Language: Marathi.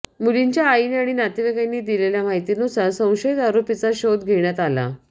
मुलीच्या आईने आणि नातेवाईकांनी दिलेल्या माहितीनुसार संशयित आरोपीचा शोध घेण्यात आला